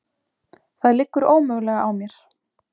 Það liggur ómögulega á mér.